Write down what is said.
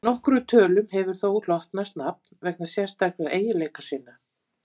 nokkrum tölum hefur þó hlotnast nafn vegna sérstakra eiginleika sinna